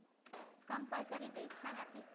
એ compulsory બેસતાં નથી